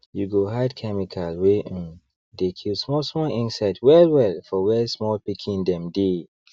you go hide chemical wey um dey kill small small insects well well for where small pikin dem dey